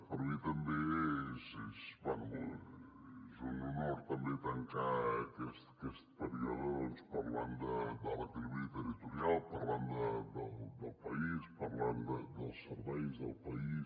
per mi també és un honor tancar aquest període parlant de l’equilibri territorial parlant del país parlant dels serveis del país